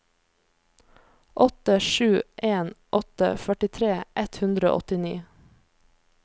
åtte sju en åtte førtitre ett hundre og åttini